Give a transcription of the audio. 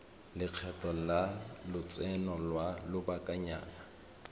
lekgetho la lotseno lwa lobakanyana